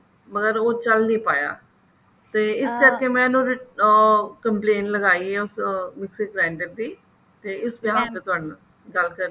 ਮਗਰ ਉਹ ਚੱਲ ਨੀ ਪਾਇਆ ਤੇ ਕਰਕੇ ਮੈਂ ਇਹਨੂੰ ਉਹ complaint ਲਖਾਈ ਹੈ ਉਸ mixer grinder ਦੀ ਤੇ behalf ਤੇ ਤੁਹਾਡੇ ਨਾਲ ਗੱਲ ਕਰਨੀ ਸੀ